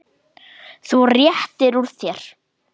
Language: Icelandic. Þú réttir úr þér.